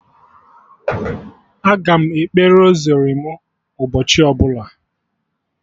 Aga m ekpe rosari mụ ụbọchị ọbụla